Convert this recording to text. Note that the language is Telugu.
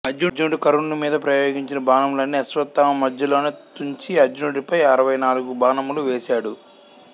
అర్జునుడు కర్ణుని మీద ప్రయోగించిన బాణములన్నీ అశ్వత్థామ మధ్యలోనే తుంచి అర్జునుడిపై అరవై నాలుగు బాణములు వేసాడు